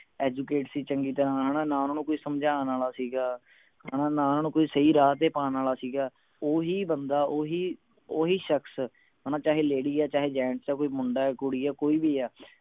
educate ਸੀ ਚੰਗੀ ਤਰ੍ਹਾਂ ਹਣਾ ਨਾ ਓਹਨਾ ਨੂੰ ਕੋਈ ਸਮਝਾਣ ਆਲਾ ਸੀ ਗਾ ਹਣਾ ਨਾ ਓਹਨਾ ਨੂੰ ਕੋਈ ਸਹੀ ਰਾਹ ਤੇ ਪਾਣ ਆਲਾ ਸੀ ਗਾ ਓਹੀ ਬੰਦਾ ਓਹੀ ਸ਼ਖਸ ਹਣਾ ਚਾਹੇ ladies ਹੈ ਚਾਹੇ gents ਹੈ ਕੋਈ ਮੁੰਡਾ ਹੈ ਕੁੜੀ ਹੈ ਕੋਈ ਵੀ ਹੈ